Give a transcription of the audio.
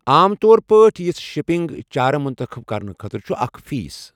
عام طور پٲٹھۍ، یژھ شپنگ چارٕ منتخب کرنہٕ خٲطرٕ چھُ اکھ فیس